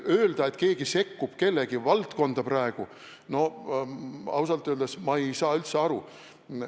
Öelda, et keegi sekkub kellegi valdkonda – no ausalt öeldes ma ei saa üldse aru.